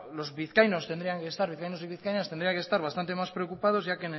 los vizcaínos y vizcaínas tendrían que estar bastante más preocupados ya